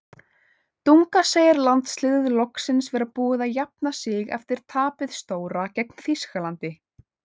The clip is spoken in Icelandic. Dunga segir landsliðið loksins vera búið að jafna sig eftir tapið stóra gegn Þýskalandi.